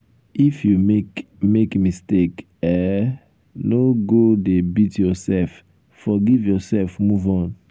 if you make make mistake um no go um dey beat yourself forgive um yourself move on.